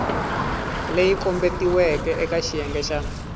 leyi kombetiweke eka xiyenge xa